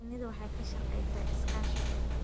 Shinnidu waxay ka shaqeysaa iskaashi dhow